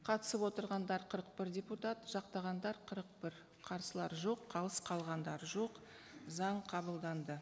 қатысып отырғандар қырық бір депутат жақтағандар қырық бір қарсылар жоқ қалыс қалғандар жоқ заң қабылданды